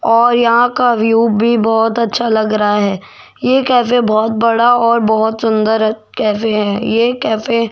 और यहां का व्यू भी बहोत अच्छा लग रहा है ये कैफे बहुत बड़ा और बहुत सुंदर है ये कैफे --